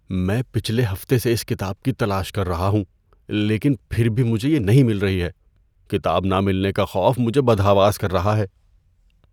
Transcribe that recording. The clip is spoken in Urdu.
میں پچھلے ہفتے سے اس کتاب کی تلاش کر رہا ہوں لیکن پھر بھی مجھے یہ نہیں مل رہی ہے۔ کتاب نہ ملنے کا خوف مجھے بدحواس کر رہا ہے۔